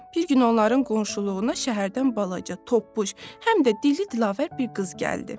Bir gün onların qonşuluğuna şəhərdən balaca, toppuş, həm də dili dilavər bir qız gəldi.